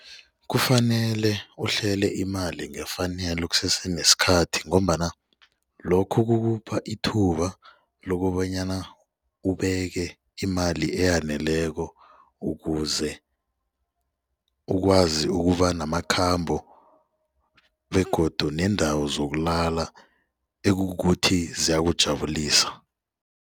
Kufanele uhlele imali ngefanelo kusese nesikhathi ngombana lokhu kukupha ithuba lokobanyana ubeke imali eyaneleko ukuze ukwazi ukuba namakhambo begodu neendawo zokulala ekukuthi ziyakuthravulisa.